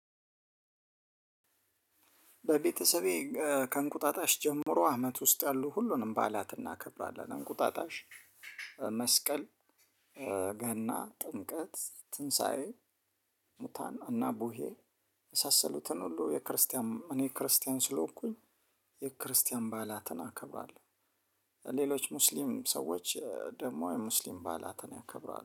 በቤተሰቤ ከእንቁጣጣሽ ጀምሮ አመት ውስጥ ያሉ ሁሉንም ባዕላት እናከብራለን። እንቁጣጣሽ መስቀል፣ ገና፣ ጥምቀት፣ ትንሳኤ፣ ሙታን እና ቡሄ የመሳሰሉትን ሁሉ የክርስቲያን እኔ ክርስቲያን ስለሆኩኝ የክርስቲያን ባዕላትን አከብራለሁ። ሌሎች ሙስሊም ሰዎች ደግሞ የሙስሊም ባዕላትን ያከብራሉ።